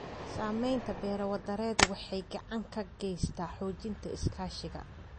Samaynta beero-wadareed waxay gacan ka geysataa xoojinta iskaashiga.